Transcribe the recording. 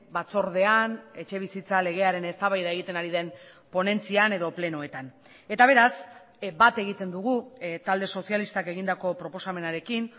batzordean etxebizitza legearen eztabaida egiten ari den ponentzian edo plenoetan eta beraz bat egiten dugu talde sozialistak egindako proposamenarekin